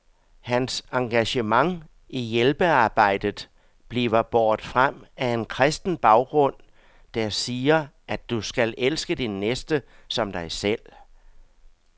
Hans engagement i hjælpearbejdet bliver båret frem af en kristen baggrund, der siger, at du skal elske din næste som dig selv.